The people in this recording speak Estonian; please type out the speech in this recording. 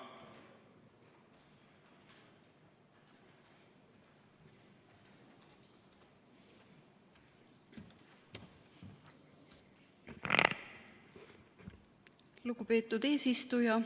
Lugupeetud eesistuja!